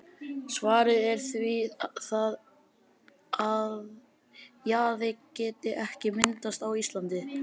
Svarið er því það, að jaði geti ekki myndast á Íslandi.